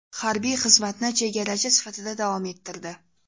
Harbiy xizmatni chegarachi sifatida davom ettirdi.